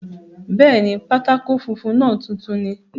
Bẹ́ẹ̀ni, pátákó funfun náà tuntun ni